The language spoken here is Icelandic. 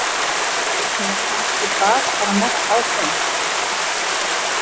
Eða kannski bar bara mest á þeim.